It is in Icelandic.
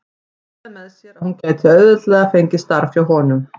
Hugsaði með sér að hún gæti auðveldlega fengið starf hjá honum.